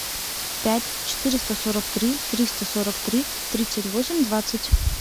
пять четыреста сорок три триста сорок три тридцать восемь двадцать